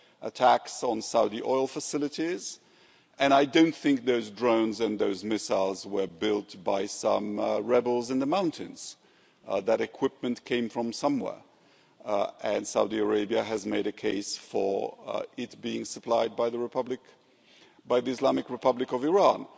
attacks on Saudi oil facilities, and I don't think those drones and those missiles were built by some rebels in the mountains. That equipment came from somewhere, and Saudi Arabia has made a case for it being supplied by the Islamic Republic of Iran.